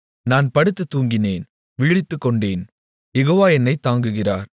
நான் படுத்து தூங்கினேன் விழித்துக்கொண்டேன் யெகோவா என்னைத் தாங்குகிறார்